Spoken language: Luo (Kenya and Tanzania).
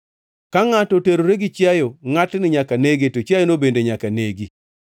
Ka ngʼato oterore gi chiayo, ngʼatni nyaka nege, to chiayono bende nyaka negi.